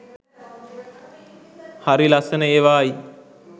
හරි ලස්සන ඒවායි.